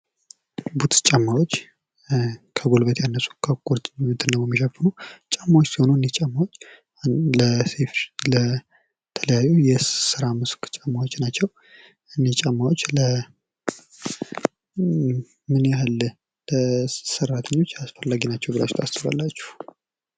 ቡትስ ጫማዎች ከጉልበት ያነሱ ከቁርጭምጭሚትን ደግሞ ሚሸፍኑ ጫማዎች ሲሆኑ እኒህ ጫማዎች ለተለያዩ የስራ መስክ ጫማዎች ናቸው ። እኒህ ጫማዎች ለምን ያህል ሰራተኞች አስፈላጊ ናቸው ብላችሁ ታስባላችሁ?